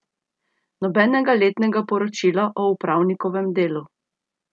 Nobenega letnega poročila o upravnikovem delu.